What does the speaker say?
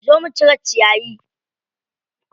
Zo mu cire ciyayi.